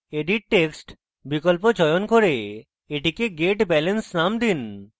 edit text বিকল্প চয়ন করে এটিকে get balance name দিন